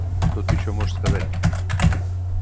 что ты ещё можешь сказать